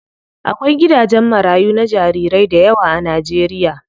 Akwai gidajen marayu na jarirai dayawa a Najeriya.